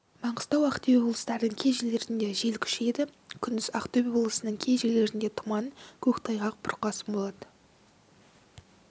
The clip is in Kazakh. маңғыстау ақтөбе облыстарының кей жерлерінде жел күшейеді күндіз ақтөбе облысының кей жерлерінде тұман көктайғақ бұрқасын болады